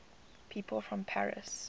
people from paris